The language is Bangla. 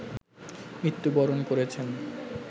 মৃত্যুবরণ করেছে